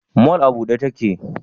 mall a bude yake?